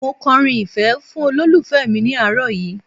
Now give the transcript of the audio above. Mo kọrin ìfẹ́ fún olólùfẹ́ mi ní àárọ̀ yìí